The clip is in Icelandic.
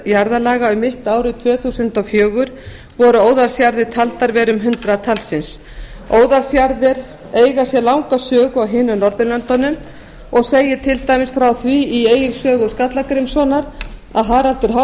um mitt ár tvö þúsund og fjögur voru óðalsjarðir taldar vera um hundrað talsins óðalsjarðir eiga sér langa sögu á hinum norðurlöndunum og segir til dæmis frá því í egils sögu skallagrímssonar að haraldur